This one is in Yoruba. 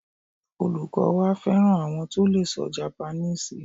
Olukọ wa fẹran awọn to lee sọ Japaníìsì